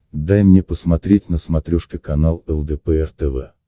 дай мне посмотреть на смотрешке канал лдпр тв